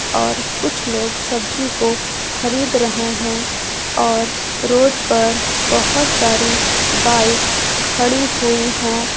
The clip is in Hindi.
और कुछ लोग सब्जी को खरीद रहे हैं और रोड पर बहुत सारी बाइक खड़ी हुई हैं।